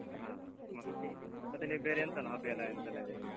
ಹ. ಮ, ಮತ್ತೆ ನೀವ್ ಬೇರೆ ಎಂತೆಲ್ಲ hobby ಎಲ್ಲ ಎಂತೆಲ್ಲ ಇದೆ ನಿಮ್ದು?